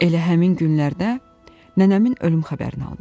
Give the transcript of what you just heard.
Elə həmin günlərdə nənəmin ölüm xəbərini aldım.